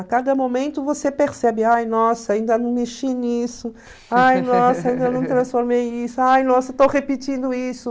A cada momento você percebe, ai, nossa, ainda não mexi nisso, ai, nossa, ainda não transformei isso, ai, nossa, estou repetindo isso.